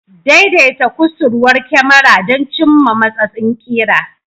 Daidaita kusurwar kyamara don cimma matsatsin ƙira.